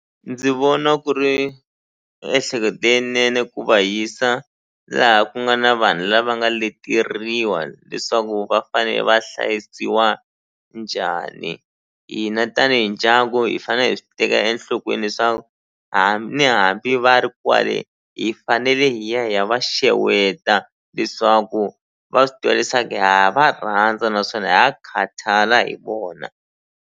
Ndzi vona ku ri ehleketo leyinene ku va hisa laha ku nga na vanhu lava nga leteriwa leswaku va fane va hlayisiwa njhani hina tanihi ndyangu hi fane hi swi teka enhlokweni leswaku ni hambi va ri kwale hi fanele hi ya hi ya va xeweta leswaku va swi tiva leswaku ha ha va rhandza naswona ha khathala hi vona.